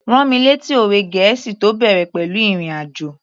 Rán mi lẹ́tí òwe gẹ̀ẹ́sì tó bẹ̀rẹ̀ pẹ̀lú ìrìn àjò